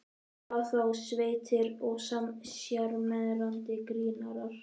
Hvað þá sveittir og sjarmerandi grínarar.